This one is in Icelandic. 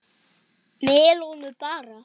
Melónur bara!